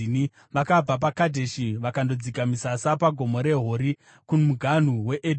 Vakabva paKadheshi vakandodzika misasa paGomo reHori, kumuganhu weEdhomu.